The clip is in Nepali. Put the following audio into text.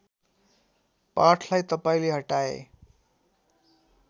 पाठलाई तपाईँले हटाए